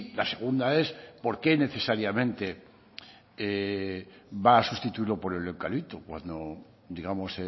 la segunda es porqué necesariamente va a sustituirlo por el eucalipto cuando digamos